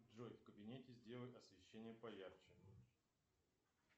джой в кабинете сделай освещение поярче